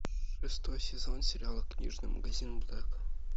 шестой сезон сериала книжный магазин блэка